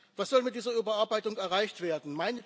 Was soll mit dieser Überarbeitung erreicht werden?